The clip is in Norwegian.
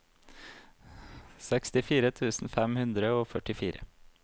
sekstifire tusen fem hundre og førtifire